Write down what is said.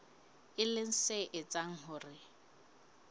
e leng se etsang hore